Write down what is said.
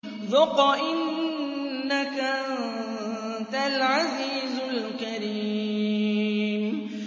ذُقْ إِنَّكَ أَنتَ الْعَزِيزُ الْكَرِيمُ